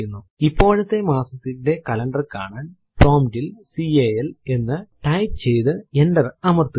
ഇപ്പോഴത്തെ മാസത്തിന്റെ കലണ്ടർ കാണാൻ പ്രോംപ്റ്റ് ൽ കാൽ എന്ന് ടൈപ്പ് ചെയ്തു എന്റർ അമർത്തുക